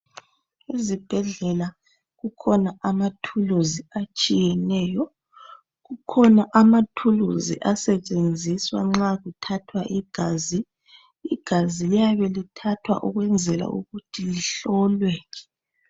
Ezibhedlela kukhona amathulusi atshiyeneyo. Kukhona amathulusi asetshenziswa nxa kuthathwa igazi. Igazi liyabe lithathwa ukwenzela ukuthi lihlolwe.